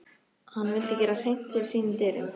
Hann vildi gera hreint fyrir sínum dyrum.